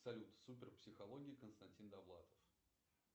салют супер психология константин довлатов